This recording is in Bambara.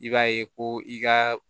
I b'a ye ko i ka